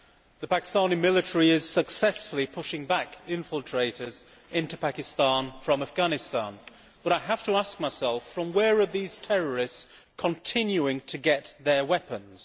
The Pakistani military is successfully pushing back infiltrators into Pakistan from Afghanistan, but I have to ask myself from where are these terrorists continuing to get their weapons?